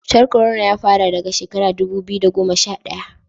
cutar korona ya fara daga shekara dubu biyu da goma sha daya